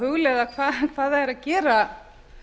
hugleiða hvað það er að gera